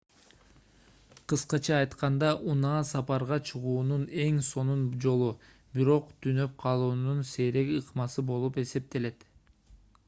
кыскача айтканда унаа сапарга чыгуунун эң сонун жолу бирок түнөп калуунун сейрек ыкмасы болуп эсептелет